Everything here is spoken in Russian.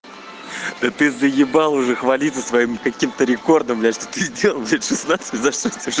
да ты заебал уже хвалится своим каким-то рекордом блять что сделал блять шестнадцать мне знаешь сове